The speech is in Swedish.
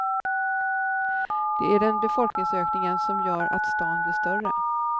Det är den befolkningsökningen som gör att stan blir större.